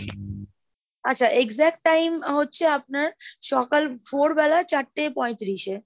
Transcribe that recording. আচ্ছা exact time হচ্ছে আপনার সকাল ভোরবেলায় চারটে পঁয়ত্রিশ এ,